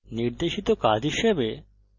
নির্দেশিত কাজ হিসাবে